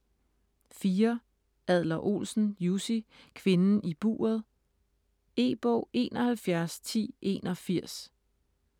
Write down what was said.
Adler-Olsen, Jussi: Kvinden i buret E-bog 711081